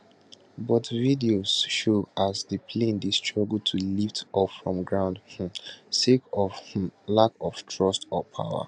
but videos show as di plane dey struggle to lift off from ground um sake of um lack of thrust or power